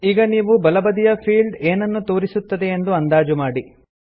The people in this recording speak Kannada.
ಈಗ ನೀವು ಬಲಬದಿಯ ಫೀಲ್ಡ್ ಏನನ್ನು ತೋರಿಸುತ್ತದೆಯೆಂದು ಅಂದಾಜು ಮಾಡಿ